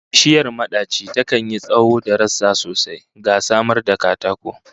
Bishiyar madaci takan yi tsawon da rassa sosai, ga samar da katako